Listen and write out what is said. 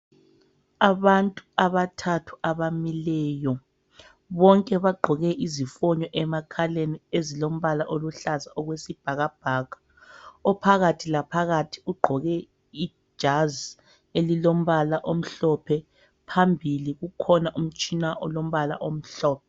Abantu abathathu abamileyo. Bonke bagqoke izifonyo emakhaleni ezilombala oluhlaza okwe sibhakabhaka. Ophakathi laphakathi ugqoke ijazi elilombala omhlophe. Phambili kukhona umtshina olombala omhlophe.